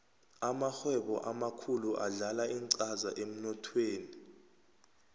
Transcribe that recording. amarhwebo amakhulu adlala incaza emnothweni